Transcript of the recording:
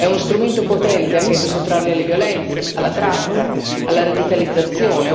È uno strumento potente anche per sottrarli alle violenze, alla tratta, alla radicalizzazione